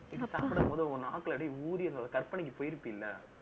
இப்போ சாப்பிடு போது, உன் நாக்குல அப்படியே ஊறி, அந்த கற்பனைக்கு போயிருப்ப இல்லை